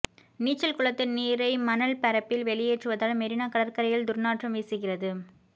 நீச்சல் குளத்து நீரை மணல் பரப்பில் வெளியேற்றுவதால் மெரினா கடற்கரையில் துர்நாற்றம் வீசுகிறது